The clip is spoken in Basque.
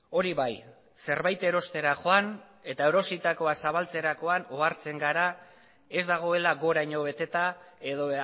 hori bai zerbait erostera joan eta erositakoa zabaltzerakoan ohartzen gara ez dagoela goraino beteta edo